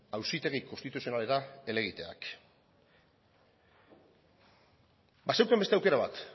auzitegi konstituzionalera helegiteak bazeukan beste aukera bat